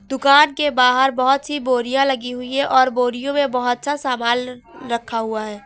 दुकान के बाहर बहोत सी बोरियां लगी हुई है और बोरियों में बहोत सा सामान रखा हुआ है।